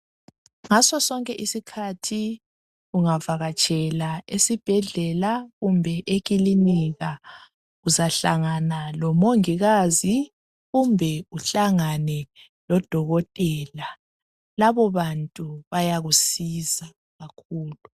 Ngaso sonke isikhathi ungavakatshela esibhedlela kumbe ekilinika uzahlangana lomongikazi kumbe uhlangane lodokotela. Labo bantu bayakusiza kakhulu.